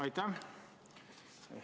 Aitäh!